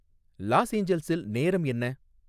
loss ஏஞ்சல்ஸில் நேரம் என்ன